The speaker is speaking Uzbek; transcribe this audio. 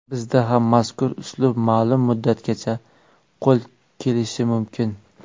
Bizda ham mazkur uslub ma’lum muddatgacha qo‘l kelishi mumkin.